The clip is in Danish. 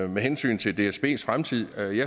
med hensyn til dsbs fremtid